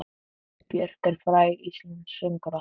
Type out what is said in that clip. Björk er fræg íslensk söngkona.